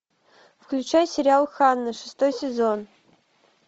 включай сериал ханна шестой сезон